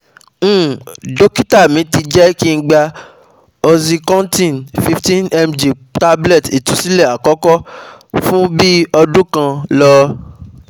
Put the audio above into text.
um Dokita mi ti je kin [gab oxycontin 15mg tablet itunsile akoko fun bi odun kan lo